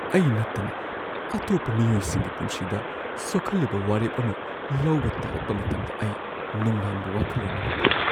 ꯑꯩ ꯅꯠꯇꯅ ꯑꯇꯣꯞꯄ ꯃꯤꯑꯣꯏꯁꯤꯡꯒꯤ ꯄꯨꯟꯁꯤꯗ ꯁꯣꯛꯍꯜꯂꯤꯕ ꯋꯥꯔꯦꯞ ꯑꯃ ꯂꯧꯕ ꯇꯥꯔꯛꯄ ꯃꯇꯝꯗ ꯑꯩ ꯅꯨꯡꯅꯥꯡꯕ ꯋꯥꯈꯜꯂꯣꯟ ꯑꯃ ꯐꯥꯎꯏ꯫